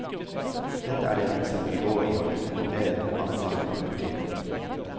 Dette er det lengste hun vil gå i å kommentere denne fanesaken for partiet.